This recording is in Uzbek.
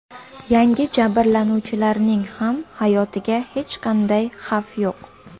Yangi jabrlanuvchilarning ham hayotiga hech qanday xavf yo‘q.